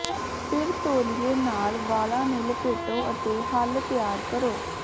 ਫਿਰ ਤੌਲੀਏ ਨਾਲ ਵਾਲਾਂ ਨੂੰ ਲਪੇਟੋ ਅਤੇ ਹੱਲ ਤਿਆਰ ਕਰੋ